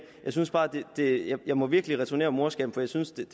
jeg må virkelig returnere morskaben for jeg synes